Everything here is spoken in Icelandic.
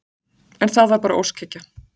En þetta var bara óskhyggja.